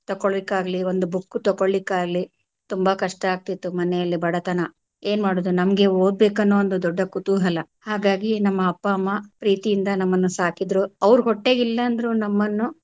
ತಕ್ಕೊಳಿಕ್ಕಾಗ್ಲಿ ಒಂದು book ತಕ್ಕೊಳಿಕ್ಕಾಗ್ಲಿ ತುಂಬಾ ಕಷ್ಟ ಆಗ್ತಿತ್ತು ಮನೇಲಿ ಬಡತನ ಏನ್ ಮಾಡುದು ನಮಗೆ ಓದ್ಬೇಕು ಅನ್ನುವ ಒಂದು ದೊಡ್ಡ ಕುತೂಹಲ ಹಾಗಾಗಿ ನಮ್ ಅಪ್ಪ ಅಮ್ಮಾ ಪ್ರೀತಿಯಿಂದ ನಮ್ಮನ್ನು ಸಾಕಿದ್ರು ಅವ್ರ ಹೊಟ್ಟೆಗಿಲ್ಲ ಅಂದ್ರು ನಮ್ಮನ್ನು.